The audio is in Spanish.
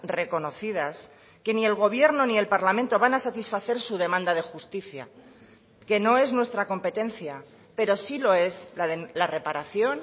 reconocidas que ni el gobierno ni el parlamento van a satisfacer su demanda de justicia que no es nuestra competencia pero sí lo es la reparación